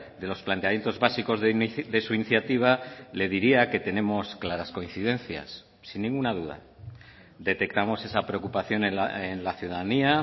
de los planteamientos básicos de su iniciativa le diría que tenemos claras coincidencias sin ninguna duda detectamos esa preocupación en la ciudadanía